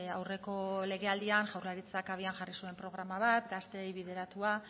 aurreko legealdian jaurlaritzak abian jarri zuen programa bat gazteei bideratua